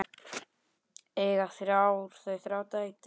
Eiga þau þrjár dætur.